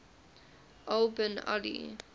al bin ali